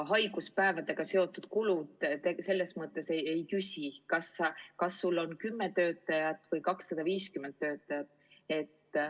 Haiguspäevadega seotud kulud ei küsi, kas sul on 10 töötajat või 250 töötajat.